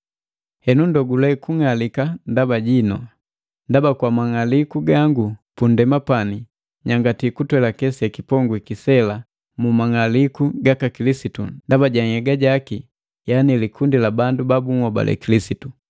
Henu ndogule kung'alika ndaba jinu, ndaba kwa mang'aliku gangu pu nndema pani, nyangati kutwelake sekipongwi sela mu mang'aliku gaka Kilisitu ndaba ja nhyega jaki yani likundi la bandu ba bunhobale kilisitu.